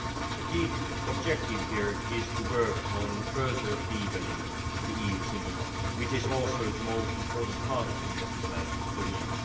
A key objective here is to work on further deepening the EU single market, which is also the most important part of the investment plan for the EU.